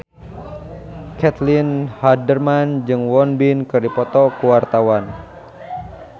Caitlin Halderman jeung Won Bin keur dipoto ku wartawan